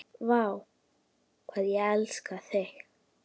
Vá, hvað ég elskaði þig.